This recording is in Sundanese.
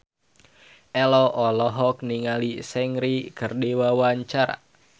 Ello olohok ningali Seungri keur diwawancara